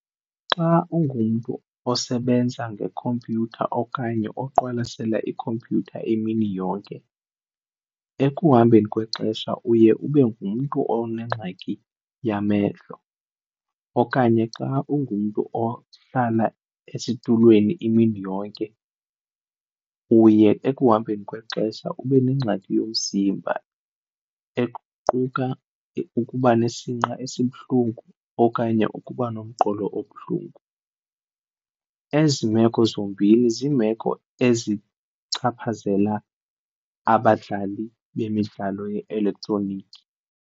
Xa ungumntu osebenza ngekhompyutha okanye oqwalasela ikhompyutha imini yonke, ekuhambeni kwexesha uye ube ngumntu onengxaki yamehlo. Okanye xa ungumntu ohlala esitulweni imini yonke uye ekuhambeni kwexesha ube nengxaki yomzimba ekuquka ukuba nesinqa esibuhlungu okanye ukuba nomqolo obuhlungu. Ezi meko zombini zimeko ezichaphazela abadlali bemidlalo ye-elektroniki.